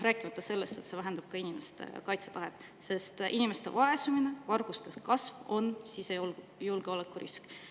Rääkimata sellest, et see vähendab ka inimeste kaitsetahet, sest inimeste vaesumine ja varguste kasv on sisejulgeolekuriskid.